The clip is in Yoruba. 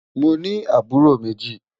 Mọ ní àbúró mẹ́jì.